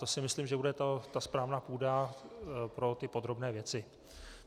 To si myslím, že bude ta správná půda pro ty podrobné věci.